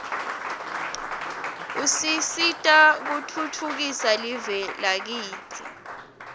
usisita kutfutfukisa live lakitsi